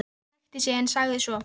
Pabbi ræskti sig en sagði svo